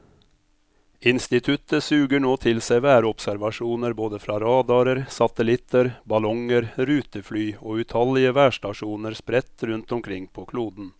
Instituttet suger nå til seg værobservasjoner både fra radarer, satellitter, ballonger, rutefly og utallige værstasjoner spredt rundt omkring på kloden.